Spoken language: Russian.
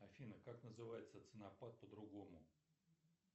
афина как называется ценопад по другому